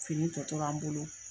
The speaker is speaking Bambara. Fini tɔ tora an bolo.